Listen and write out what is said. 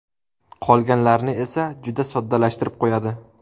Qolganlarni esa juda soddalashtirib qo‘yadi.